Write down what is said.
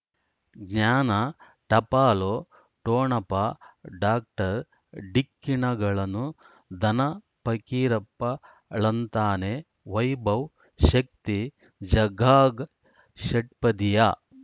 ಜ್ಞಾನ ಟಪಾಲು ಠೊಣಪ ಡಾಕ್ಟರ್ ಢಿಕ್ಕಿ ಣಗಳನು ಧನ ಫಕೀರಪ್ಪ ಳಂತಾನೆ ವೈಭವ್ ಶಕ್ತಿ ಝಗಾಗ್ ಷಟ್ಪದಿಯ